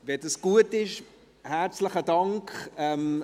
– Wenn es gut ist, herzlichen Dank!